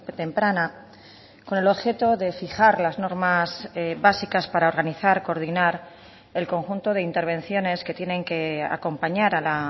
temprana con el objeto de fijar las normas básicas para organizar coordinar el conjunto de intervenciones que tienen que acompañar a la